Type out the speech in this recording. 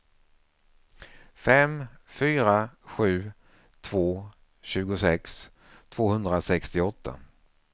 fem fyra sju två tjugosex tvåhundrasextioåtta